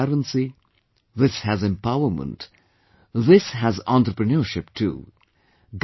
This has transparency, this has empowerment, this has entrepreneurship too